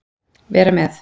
vera með